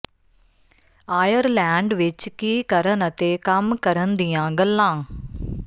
Ireland ਵਿੱਚ ਕੀ ਕਰਨ ਅਤੇ ਕੰਮ ਕਰਨ ਦੀਆਂ ਗੱਲਾਂ